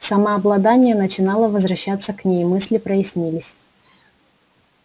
самообладание начинало возвращаться к ней мысли прояснились